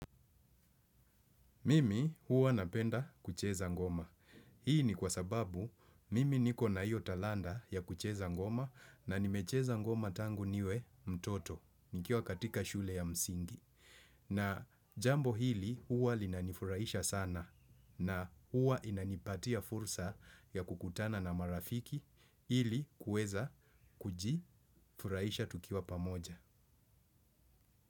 Mimi huwa napenda kucheza ngoma. Hii ni kwa sababu mimi niko na hiyo talanta ya kucheza ngoma na nimecheza ngoma tangu niwe mtoto nikiwa katika shule ya msingi. Na jambo hili huwa linanifuraisha sana na huwa inanipatia fursa ya kukutana na marafiki ili kuweza kuji furahisha tukiwa pamoja.